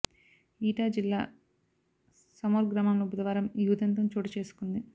eta జిల్లా సమౌర్ గ్రామంలో బుధవారం ఈ ఉదంతం చోటు చేసుకుంది